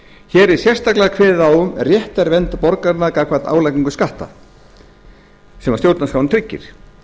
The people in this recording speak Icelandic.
er sérstaklega kveðið á um réttarvernd borgaranna gagnvart álagningu skatta sem stjórnarskráin tryggir